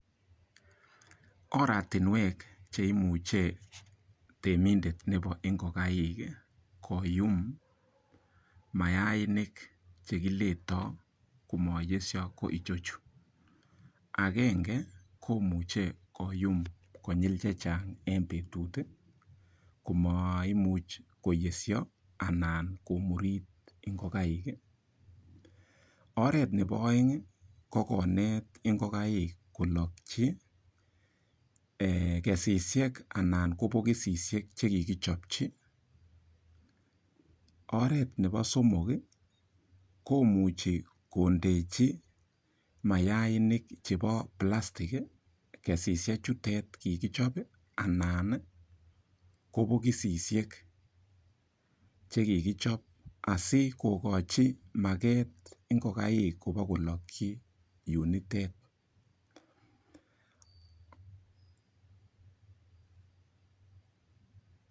Oratinwek cheimuche temindet nebo ingokaik koyum mayainik chekiletoi komayesho ko ichochu akenge komuche koyum konyil che chang eng betut komaimuch koyesho anan komurit ingokaik oret nebo oeng ko konet ngokaik kolokchi kesishek anan ko bokisishek chekikichopchi oret nebo somok komuchei kondechi mayainik chebo pilastik kesishek chutet kikichop anan ko bokisishek chekikichop asikokochi maket ingokaik kopokolokchi yutet.